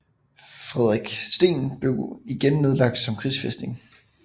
Fredriksten blev igen nedlagt som krigsfæstning